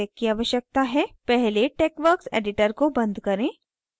पहले texworks editor को बंद करें